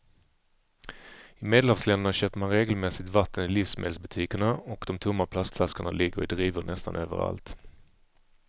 I medelhavsländerna köper man regelmässigt vatten i livsmedelsbutikerna och de tomma plastflaskorna ligger i drivor nästan överallt.